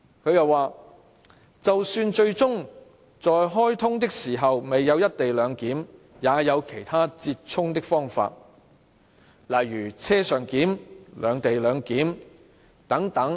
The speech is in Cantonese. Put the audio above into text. "她又說："就算最終在開通的時候未有'一地兩檢'也有其他折衷的方法，例如'車上檢'、'兩地兩檢'等。